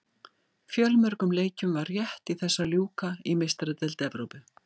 Fjölmörgum leikjum var rétt í þessu að ljúka í Meistaradeild Evrópu.